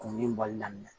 Kumuni bɔli daminɛ